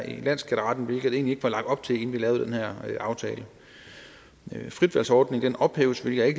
i landsskatteretten hvilket der egentlig ikke var lagt op til inden vi lavede den her aftale fritvalgsordningen ophæves hvilket jeg